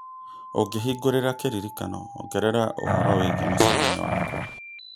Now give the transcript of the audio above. Ũngĩhingũra kĩririkano ongerera ũhoro wĩgiĩ mũcemanio wakwa